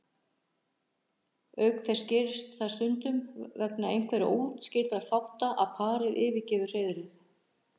Auk þess gerist það stundum vegna einhverra óútskýrðra þátta að parið yfirgefur hreiðrið.